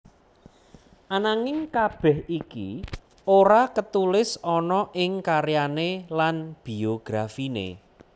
Ananging kabeh iki ora ketulis ana ing karyane lan biografine